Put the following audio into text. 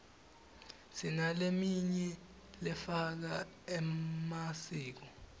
sinaleminy lefaka emasiko